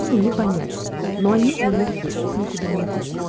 не понять но они у них есть их никуда не